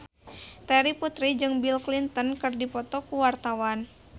Terry Putri jeung Bill Clinton keur dipoto ku wartawan